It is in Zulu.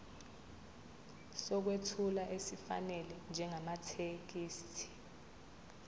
sokwethula esifanele njengamathekisthi